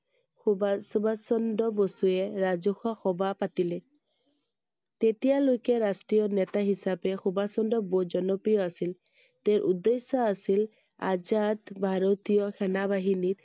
সুভাষ চন্দ্ৰ বসুৱে ৰাজহুৱা সভা পাতিলে I তেতিয়া লৈকে ৰাষ্ট্ৰীয় নেতা হিচাপে সুভাষ চন্দ্ৰ বসু জনপ্ৰিয় আছিল I তেওঁৰ উদ্দেশ্য আছিল আজাদ ভাৰতীয় সেনা বাহিনী